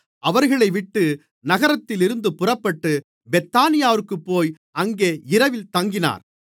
அவர்களைவிட்டு நகரத்திலிருந்து புறப்பட்டு பெத்தானியாவிற்குப்போய் அங்கே இரவில் தங்கினார்